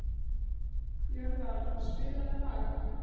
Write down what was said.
Jörvar, spilaðu lag.